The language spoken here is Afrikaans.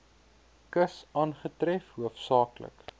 kus aangetref hoofsaaklik